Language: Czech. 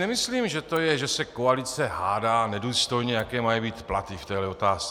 Nemyslím, že to je, že se koalice hádá nedůstojně, jaké mají být platy v této otázce.